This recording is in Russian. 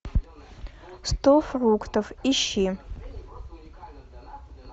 сто фруктов ищи